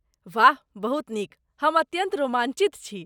वाह बहुत नीक। हम अत्यन्त रोमाञ्चित छी।